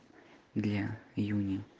для юни